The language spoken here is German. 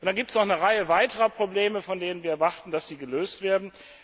Es gibt noch eine Reihe anderer Probleme, von denen wir erwarten, dass sie gelöst werden.